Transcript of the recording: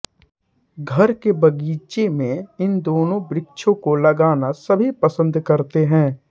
घर के बगीचे में इन दोनों वृक्षों को लगाना सभी पसन्द करते हैं